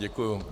Děkuji.